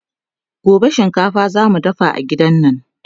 gobe shinkafa zamu dafa a gidan nan